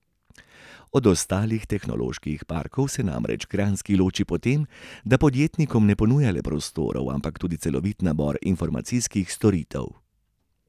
Od ostalih tehnoloških parkov se namreč kranjski loči po tem, da podjetnikom ne ponuja le prostorov, ampak tudi celovit nabor informacijskih storitev.